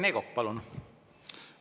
Rene Kokk, palun!